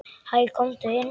Hæ, komdu inn.